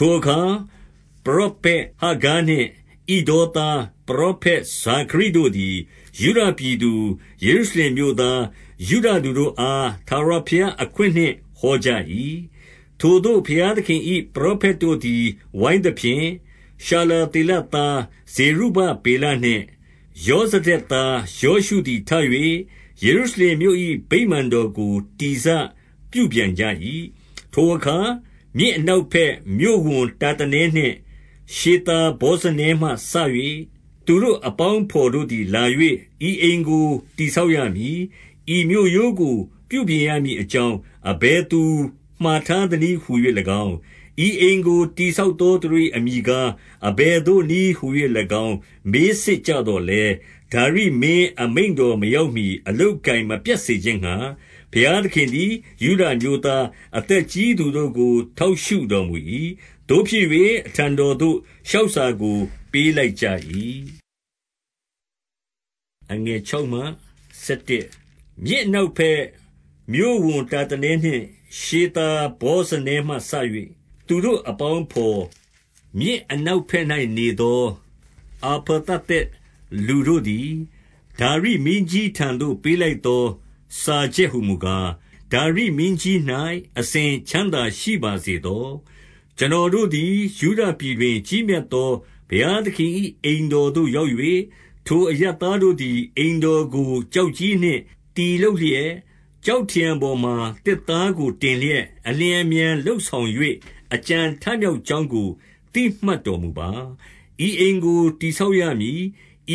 ထိုအခါ ပရောဖက်ဟဂ္ဂဲနှင့် ဣဒေါသားပရော ဖက် ဇာခရိလူတို့ သည် ယုဒပြည်သူ၊ ယေရုရှလင်မြို့သား၊ ယုဒလူတို့အား ထာဝရဘုရားအခွင့်နှင့် ဟောကြ၏။ 2 ထိုဘုရားသခင်၏ ပရောဖက်တို့သည် ဝိုင်း သဖြင့်၊ ရှာလသေလသား ဇေရုဗဗေလနှင့် ယောဗဒက် သား ယောရှုသည်ထ၍ ယေရုရှလင်မြို့၏ ဗိမာန်တော်ကို တည်စပြုပြန်ကြ၏ 3 ထိုအခါ မြစ်အနောက်ဘက် မြို့ဝန်တာတန်နှင့် ရှေသာဗောဇနဲမှစ၍ သူတို့အပေါင်းအဘော်တို့သည် လာ၍၊ ဤအိမ်ကိုတည်ဆောက်ရမည်၊ ဤမြို့ရိုးကို ပြုပြင် ရမည်အကြောင်း အဘယ်သူမှာထားသနည်းဟူ၍၎င်း၊ 4 ဤအိမ်ကိုတည်ဆောက်သော သူတို့၏အမည် ကား အဘယ်သို့ နည်းဟူ၍၎င်း၊ မေးစစ်ကြသော်လည်း၊ 5 ဒါရိမင်း အမိန့်တော်မရောက်မှီတိုင် အလုပ် အကိုင် မပြတ်စေခြင်းငှါ၊ ဘုရားသခင်သည် ယုဒ အမျိုးသား အသက်ကြီးသူတို့ကို ထောက်ရှုတော်မူ၏။ သို့ဖြစ်၍ အထံတော်သို့ လျှောက်စာကိုပေးလိုက်ကြ၏။ 6 မြစ်အနောက်ဘက် မြို့ဝန်တာတနဲနှင့် ရှေသာ ဗောဇနဲမှစ၍ သူတို့အပေါင်းအဘော်၊ 7 မြစ်အနောက်ဘက်၌နေသော အဖာသသက် လူတို့သည်၊ ဒါရိမင်းကြီးထံသို့ပေးလိုက်သော စာချက်ဟူ မူကာ၊ ဒါရိမင်းကြီး၌ အစဉ်ချမ်းသာရှိပါစေသော။ 8 ကျွန်တော်တို့သည် ယုဒပြည်တွင် ကြီးမြတ်သော ဘုရားသခင်၏ အိမ်တော်သို့ရောက်၍၊ ထိုအရပ်သား တို့သည် အိမ်တော်ကို ကျောက်ကြီးနှင့်တည်လျက်၊ ကျောက်ထရံပေါ်မှာ သစ်သားကို တင်လျက်၊ အလျင် အမြန် လုပ်ဆောင်၍ အကြံထမြောက်ကြောင်းကို သိမှတ် တော်မူပါ။ 9 ဤအိမ်ကိုတည်ဆောက်ရမည်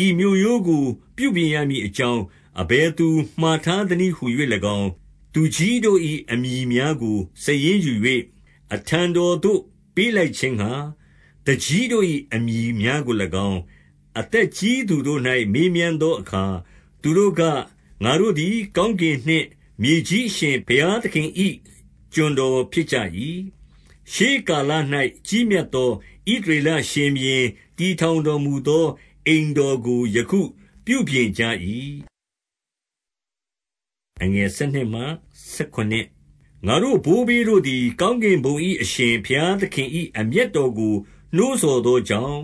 ၊ ဤမြို့ရိုးကို ပြုပြင်ရမည်အကြောင်း အဘယ်သူမှာထားသနည်း ဟူ၍၎င်း၊ 10 သူကြီးတို့၏ အမည်များကို စာရင်းယူ၍ အထံ တော်သို့ပေးလိုက်ခြင်းငှါ၊ သူကြီးတို့၏အမည်များကို၎င်း၊ အသက်ကြီးသူတို့၌မေးမြန်းသော အခါ။ 11 သူတို့က၊ ငါတို့သည် ကောင်းကင်နှင့်မြေကြီး အရှင် ဘုရားသခင်၏ ကျွန်တော်ဖြစ်ကြ၏။ ရှေးကာလ၌ ကြီးမြတ်သော ဣသရေလရှင်ဘုရင် တည်ထောင်တော်မူ သော အိမ်တော်ကို ယခုပြုပြင်ကြ၏။ 12 ငါတို့ဘိုးဘေးတို့သည် ကောင်းကင်ဘုံ၏ အရှင် ဘုရားသခင်၏ အမျက်တော်ကိုနှိုးဆော်သောကြောင့်၊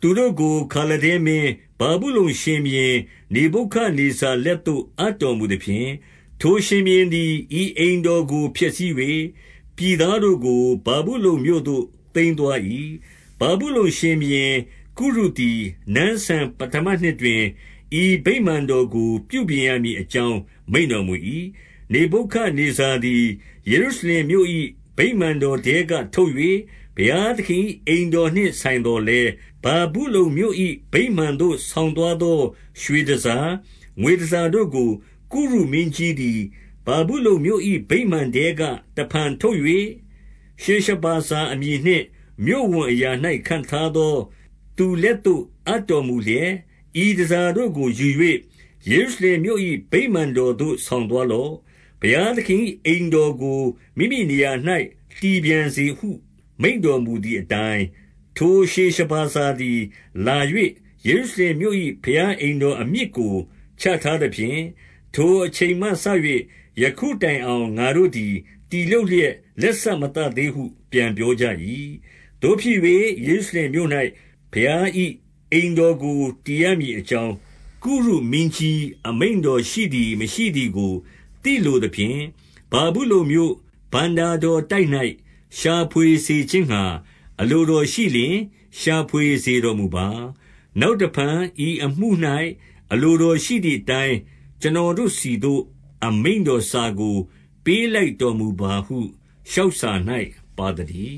သူတို့ကိုခါလဒဲမင်း၊ ဗာဗုလုန်ရှင်ဘုရင် နေဗုခဒ်နေဇာ လက်သို့ အပ်တော်မူသဖြင့်၊ ထိုရှင်ဘုရင်သည် ဤအိမ် တော်ကို ဖျက်ဆီး၍၊ ပြည်သားတို့ကို ဗာဗုလုန်မြို့သို့ သိမ်း သွား၏။ 13 ဗာဗုလုန်ရှင်ဘုရင်ကုရုသည်၊ နန်းစံပဌမနှစ် တွင် ဤဗိမာန်တော်ကို ပြုပြင်ရမည်အကြောင်း မိန့်တော် မူ၏။ 14 နေဗုခဒ်နေဇာသည် ယေရုရှလင်မြို့၏ ဗိမာန် တော်ထဲကထုတ်၍၊ ဘုရားသခင်၏အိမ်တော်နှင့် ဆိုင် သော်လည်း၊ ဗာဗုလုန်မြို့၏ ဗိမာန်သို့ ဆောင်သွားသော ရွှေတန်ဆာ၊ ငွေတန်ဆာတို့ကို ကုရုမင်းကြီးသည် ဗာဗု လုန်မြို့၏ဗိမာန်ထဲက တဖန်ထုတ်၍၊ ရှေရှဗာဇာအမည် နှင့် မြို့ဝန်အရာ၌ ခန့်ထားသောသူလက်သို့ အပ်တော် မူလျက်၊ 15 ဤတန်ဆာတို့ကိုယူ၍ ယေရုရှလင်မြို့၏ ဗိမာန် တော်သို့ ဆောင်သွားလော့။ ဘုရားသခင်၏ အိမ်တော် ကိုမိမိနေရာ၌ တည်ပြန်စေဟု မိန့်တော်မူသည်အတိုင်း၊ 16 ထိုရှေရှဗာဇာသည် လာ၍ ယေရုရှလင်မြို့၏ ဘုရားအိမ်တော်အမြစ်ကို ချထားသဖြင့်၊ ထိုအချိန်မှစ၍ ယခုတိုင်အောင် ငါတို့သည် တည်လုပ်လျက် လက်စ မသတ်သေးဟု ပြန်ပြောကြ၏။ 17 သို့ဖြစ်၍၊ ယေရုရှလင်မြို့၌ ဘုရား၏အိမ်တော် ကို တည်ရမည်အကြောင်း၊ ကုရုမင်းကြီးအမိန့်တော် ရှိသည် မရှိသည်ကိုသိလိုသဖြင့်၊ ဗာဗုလုန်မြို့ ဘဏ္ဍာ တော်တိုက်၌ ရှာဖွေစေခြင်းငှါ၊ အလိုတော်ရှိလျှင်၊ ရှာဖွေ စေတော်မူပါ။ နောက်တဖန် ဤအမှု၌ အလိုတော်ရှိသည် အတိုင်း ကျွန်တော်တို့ဆီသို့ အမိန့်တော်စာကို ပေးလိုက် တော်မူပါဟု လျှောက်စာ၌ ပါသတည်